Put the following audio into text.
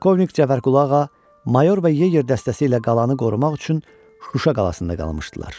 Polkovnik Cəfərqulu ağa Mayor və Yeger dəstəsi ilə qalanı qorumaq üçün Şuşa qalasında qalmışdılar.